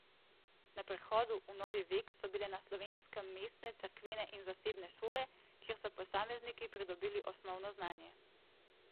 Na prehodu v novi vek so bile na Slovenskem mestne, cerkvene in zasebne šole, kjer so posamezniki pridobili osnovno znanje.